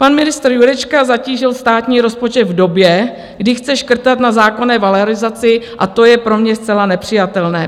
Pan ministr Jurečka zatížil státní rozpočet v době, kdy chce škrtat na zákonné valorizaci, a to je pro mě zcela nepřijatelné.